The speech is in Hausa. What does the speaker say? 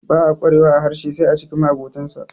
ba a kwarewa a harshen sai a cikin ma abotansa